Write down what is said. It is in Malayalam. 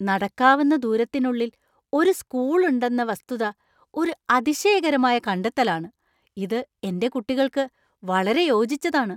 നടക്കാവുന്ന ദൂരത്തിനുള്ളിൽ ഒരു സ്കൂൾ ഉണ്ടെന്ന വസ്തുത ഒരു അതിശയകരമായ കണ്ടെത്തലാണ്. ഇത് എന്‍റെ കുട്ടികൾക്ക് വളരെ യോജിച്ചതാണ്.